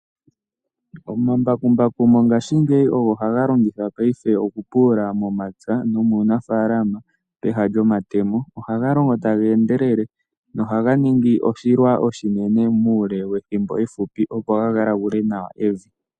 Omambakumbaku mongashingeyi ogo haga longithwa paife okupulula momapya nomuunafalama peha lyomatemo. Oha ga longo taga endelele. No haga ningi oshilwa oshinene mule wethimbo efupi. Opo ga galagule nawa evi.